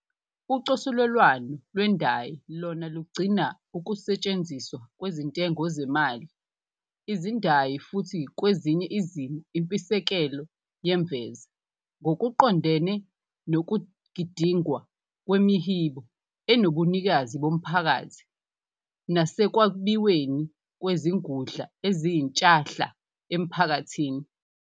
Ucosulelwano lwendayi lona lugcina ukusetshenziswa kwezintengo zemali, izindayi futhi kwezinye izimo impisekelo yemveza, ngokuqondene nokugidingwa kwemihibo enobunikazi bomphakathi nasekwabiweni kwezingudla eziyintshahla emphakathini.